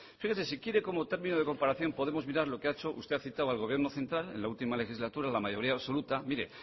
fíjese si quiere como término de comparación podemos mirar lo que ha hecho usted ha citado al gobierno central en la última legislatura en la mayoría absoluta mire